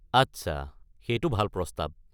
আচ্ছা, সেইটো ভাল প্ৰস্তাৱ।